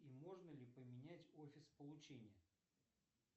и можно ли поменять офис получения